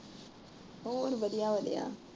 ਹੋਰ ਵਧੀਆ ਵਧੀਆ।